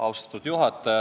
Austatud juhataja!